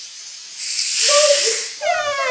Vei, í tvo daga!